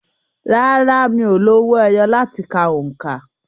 Rárá, mi ò lo owó ẹyọ láti ka òǹkà.